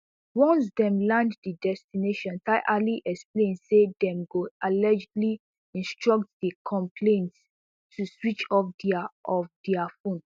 once dem land di destination tyali explain say dem go allegedly instruct di complaints to switch off dia off dia phones